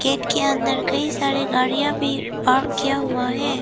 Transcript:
Gate के अंदर कई सारी गाड़ियां भी पार्क किया हुआ है।